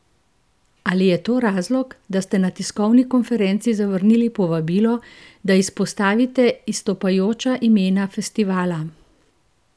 Ali je to razlog, da ste na tiskovni konferenci zavrnili povabilo, da izpostavite izstopajoča imena festivala?